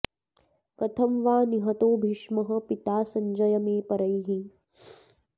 कथं वा निहतो भीष्मः पिता सञ्जय मे परैः